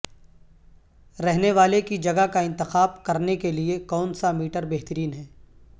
رہنے والے کی جگہ کا انتخاب کرنے کے لئے کونسا میٹر بہترین ہے